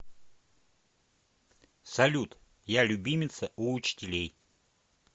салют я любимица у учителей